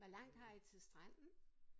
Hvor langt har I til stranden?